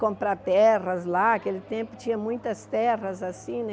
Comprar terras lá, aquele tempo tinha muitas terras assim, né?